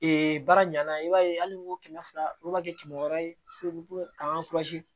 baara ɲanna i b'a ye hali n'i y'o kɛmɛ fila olu ma kɛ kɛmɛ wɔɔrɔ ye k'an